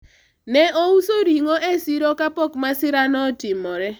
ne ouso ring'o e siro kapok masira no otimore